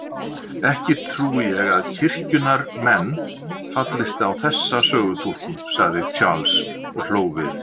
Ekki trúi ég að kirkjunnar menn fallist á þessa sögutúlkun, sagði Charles og hló við.